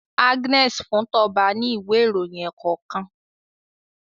Agnes fun Toba ní Ìwé ìròyìn ẹ̀ẹ̀kọ̀kan